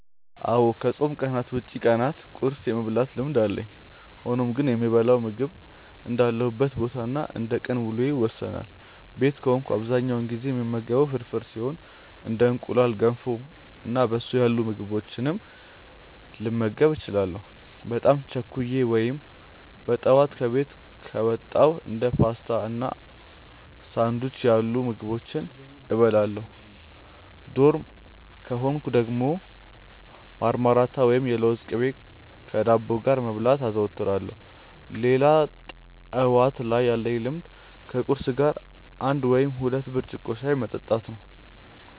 አዎ ከፆም ቀናት ውጪ ቀናት ቁርስ የመብላት ልምድ አለኝ። ሆኖም ግን የምበላው ምግብ እንዳለሁበት ቦታ እና እንደቀን ውሎዬ ይወሰናል። ቤት ከሆንኩ በአብዛኛው ጊዜ የምመገበው ፍርፍር ሲሆን እንደ እንቁላል፣ ገንፎ እና በሶ ያሉ ምግቦችንም ልመገብ እችላለሁ። በጣም ቸኩዬ ወይም በጠዋት ከቤት ከወጣው እንደ ፓስቲ እና ሳንዱች ያሉ ምግቦችን እበላለሁ። ዶርም ከሆንኩ ደግሞ ማርማላት ወይም የለውዝ ቅቤ ከዳቦ ጋር መብላት አዘወትራለሁ። ሌላ ጠዋት ላይ ያለኝ ልምድ ከቁርስ ጋር አንድ ወይም ሁለት ብርጭቆ ሻይ መጠጣት ነው።